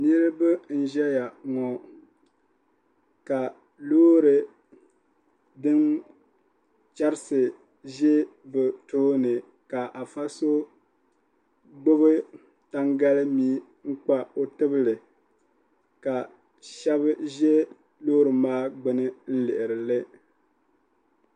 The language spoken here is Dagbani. Niriba n ʒɛya ŋɔ ka loori din cherisi ʒɛ bɛ tooni ka afa so gbibi tangalimia n kpa o tibili ka sheba ʒɛ loori maa gbini lihirili.